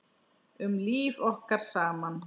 Um líf okkar saman.